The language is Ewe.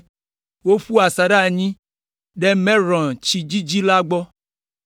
Woƒu asaɖa anyi ɖe Merɔn tsi dzidzi la gbɔ.